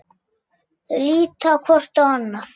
Þau líta hvort á annað.